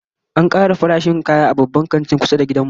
An kara farashin kaya a Babban Kantin kusa da gidan mu